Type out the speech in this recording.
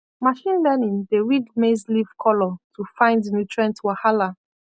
machine learning dey read maize leaf color to find nutrient wahala